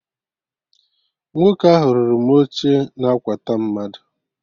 Nwoke ahụ rụrụ m oche na akwatu mmadụ